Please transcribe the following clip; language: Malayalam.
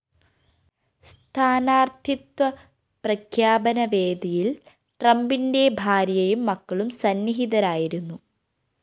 സ്ഥാനാര്‍ത്ഥിത്വ പ്രഖ്യാപന വേദിയില്‍ ട്രംപിന്റെ ഭാര്യയും മക്കളും സന്നിഹിതരായിരുന്നു